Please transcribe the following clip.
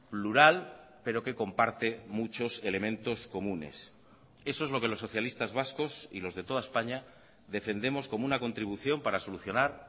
plural pero que comparte muchos elementos comunes eso es lo que los socialistas vascos y los de toda españa defendemos como una contribución para solucionar